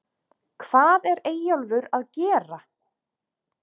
HVAÐ ER EYJÓLFUR AÐ GERA????